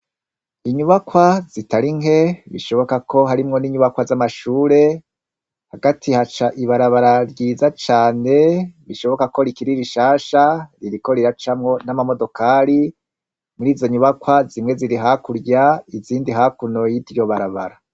Inyubakwa zitari nke bishoboka ko harimwo n'inyubakwa z'amashure, hagati haca ibarabara ryiza cane bishoboka ko rikiri rishasha ririko riracamwo n'amamodokari, muri izo nyubakwa zimwe ziri hakurya izindi hakuno y'iryo barabara.